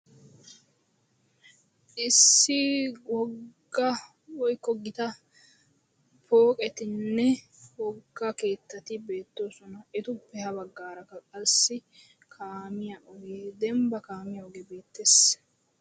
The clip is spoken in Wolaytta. Issi wogga woykko gita pooqetinne wogga keettati beettoosona. etuppe ha baggaarakka qassi kaamiya ogeedembba kaamiya ogee beettes.